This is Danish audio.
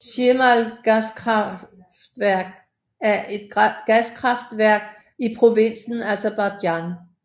Shimal gaskraftværk er et gaskraftværk i provinsen Aserbajdsjan